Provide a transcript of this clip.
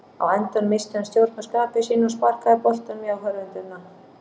Á endanum missti hann stjórn á skapi sínu og sparkaði boltanum í áhorfendurna.